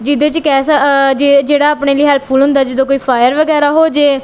ਜਿਹਦੇ ਚ ਕੇਹ ਸ ਆਹ ਜੇਹੜਾ ਆਪਣੇ ਲਈ ਹੈਲਪਫੁੱਲ ਹੁੰਦਾ ਹੈ ਜਦੋਂ ਕੋਈ ਫਾਯਰ ਵਗੈਰਾ ਹੋਜੇ।